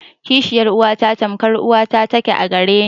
Kishiyar uwata tamkar uwa ta ke a gare ni.